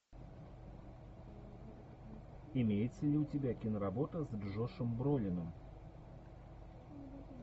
имеется ли у тебя киноработа с джошем бролином